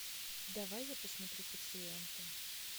давай я посмотрю пациенты